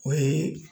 O ye